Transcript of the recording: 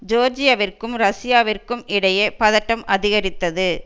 ஜோர்ஜியவிற்கும் ரஷ்யாவிற்கும் இடையே பதட்டம் அதிகரித்தது